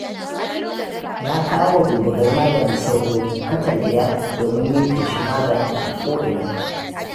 Na kawowa duba gari maganin sauro katan 5 domin yin feshin maganin a ko'ina.